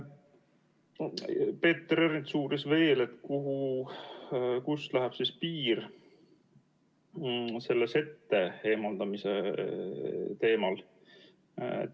Peeter Ernist uuris veel, kust läheb sette eemaldamise teemal piir.